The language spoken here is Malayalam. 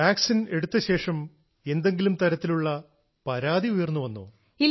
വാക്സിൻ എടുത്തശേഷം എന്തെങ്കിലും തരത്തിലുള്ള പരാതി ഉയർന്നുവന്നോ